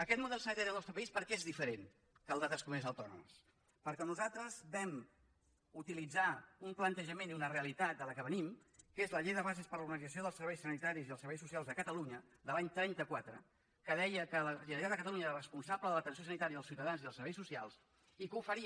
aquest model sanitari del nostre país per què és diferent que el d’altres comunitats autònomes perquè nosaltres vam utilitzar un plantejament i una realitat de la qual venim que és la llei de bases per a l’organització dels serveis sanitaris i els serveis socials de catalunya de l’any trenta quatre que deia que la generalitat de catalunya era la responsable de l’atenció sanitària dels ciutadans i dels serveis socials i que oferia